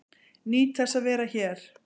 Nýt þess að vera hér